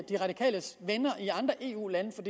de radikales venner i andre eu lande for